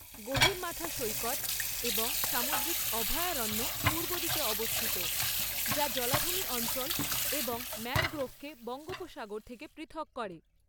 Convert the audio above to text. গহিরমাথা সৈকত এবং সামুদ্রিক অভয়ারণ্য পূর্বদিকে অবস্থিত, যা জলাভূমি অঞ্চল এবং ম্যানগ্রোভকে বঙ্গোপসাগর থেকে পৃথক করে।